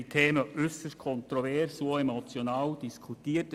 Die Themen wurden äusserst kontrovers und auch emotional diskutiert.